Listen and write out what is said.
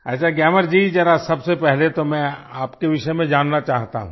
अच्छा ग्यामर जी जरा सबसे पहले तो मैं आपके विषय में जानना चाहता हूँ